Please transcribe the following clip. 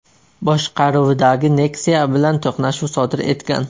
boshqaruvidagi Nexia bilan to‘qnashuv sodir etgan.